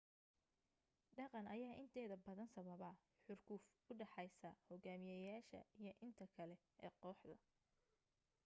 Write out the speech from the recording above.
dhaqan ayaa inteeda badan sababa xurguf u dhaxeysa xogaamiyasha iyo inta kale ee kooxda